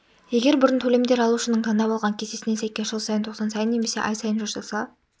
егер бұрын төлемдер алушының таңдап алған кестесіне сәйкес жыл сайын тоқсан сайын немесе ай сайын жасалса